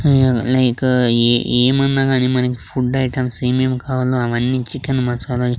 మ్ like ఏమన్నా గాని మనకి ఫుడ్ ఐటమ్స్ ఏమేం కావాలో అవన్నీ చికెన్ మసాలాని--